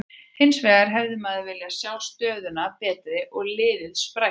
Hinsvegar hefði maður viljað sjá stöðuna betri og liðið sprækara.